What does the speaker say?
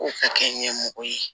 K'o ka kɛ ɲɛmɔgɔ ye